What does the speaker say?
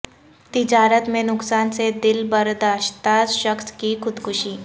تجارت میں نقصان سے دل برداشتہ شخص کی خودکشی